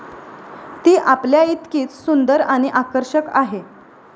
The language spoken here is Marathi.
ती आपल्याइतकीच सुंदर आणि आकर्षक आहे.